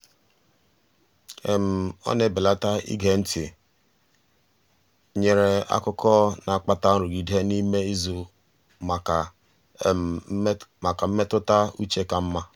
ọ na-ebelata ige ntị nyere akụkọ na-akpata nrụgide n'ime izu maka maka mmetụta uche ka mma.